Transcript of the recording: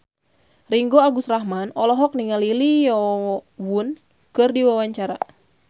Ringgo Agus Rahman olohok ningali Lee Yo Won keur diwawancara